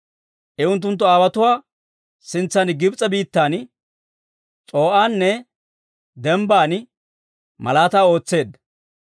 I unttunttu aawotuwaa sintsan Gibs'e biittan, S'o'aane Dembban malaataa ootseedda.